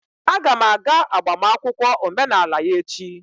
Aga m aga agbamakwụkwọ omenala ya echi.